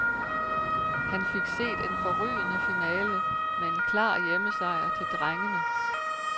Han fik set en forrygende finale med en klar hjemmesejr til drengene.